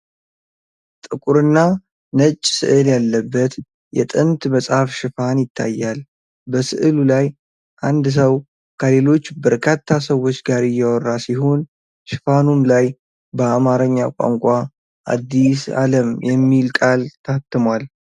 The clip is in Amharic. ጥቁርና ነጭ ሥዕል ያለበት የጥንት መጽሐፍ ሽፋን ይታያል። በሥዕሉ ላይ አንድ ሰው ከሌሎች በርካታ ሰዎች ጋር እያወራ ሲሆን፣ ሽፋኑም ላይ በአማርኛ ቋንቋ "አዲስ ዓለም" የሚል ቃል ታትሟል።